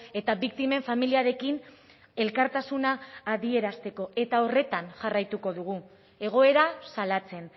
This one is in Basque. eta biktimen familiarekin elkartasuna adierazteko eta horretan jarraituko dugu egoera salatzen